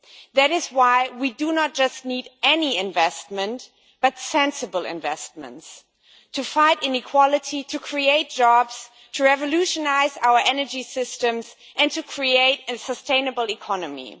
That is why we do not just need any investment but sensible investments to fight inequality, to create jobs, to revolutionise our energy systems and to create a sustainable economy.